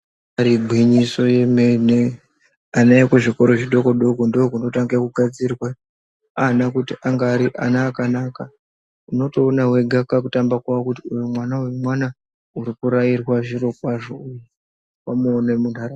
Ibaari gwinyiso yemene vana vari kuzvikora zvidokodoko ndookunotange kugadzirwe ana kuti ange ari ana akanaka unotoona wega kakutamba lwao kuti uyo mwana mwana uri kurairwa zviro kwazvo .